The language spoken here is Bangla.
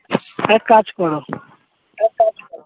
এক কাজ করো এক কাজ করো